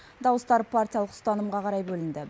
дауыстар партиялық ұстанымға қарай бөлінді